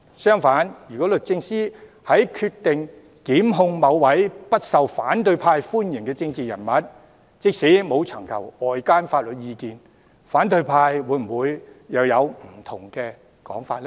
相反，如果律政司決定檢控某位不受反對派歡迎的政治人物，即使沒有尋求外間的法律意見，反對派會否又有不同的說法呢？